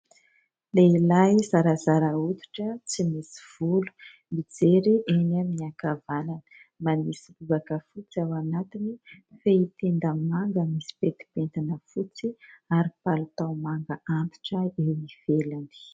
Lehilahy zarazara hoditra tsy misy volo. Mijery eny amin'ny ankavanana, manisy lobaka fotsy ao anatiny, fehy tenda manga misy pentipentina fotsy ary palitao manga antitra eo ivelany.